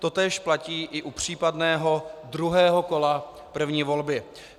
Totéž platí i u případného druhého kola první volby.